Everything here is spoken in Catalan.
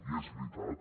i és veritat